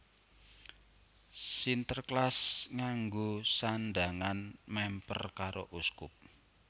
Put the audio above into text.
Sinterklas nganggo sandhangan mèmper karo uskup